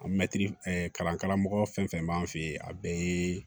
kalan karamɔgɔ fɛn fɛn b'an fe yen a bɛɛ ye